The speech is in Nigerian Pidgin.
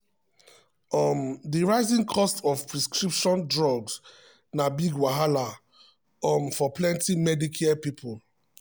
um di rising cost of prescription drugs na big wahala um for plenty medicare people. um